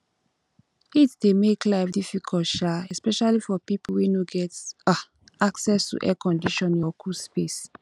heat dey make life difficult um especially for people wey no get um access to air conditioning or cool space